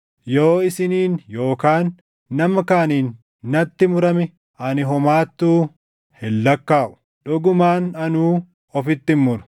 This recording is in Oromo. Yoo isiniin yookaan nama kaaniin natti murame ani homaattuu hin lakkaaʼu; dhugumaan anuu ofitti hin muru.